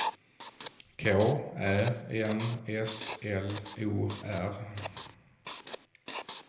K Ä N S L O R